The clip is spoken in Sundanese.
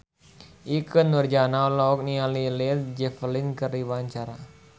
Ikke Nurjanah olohok ningali Led Zeppelin keur diwawancara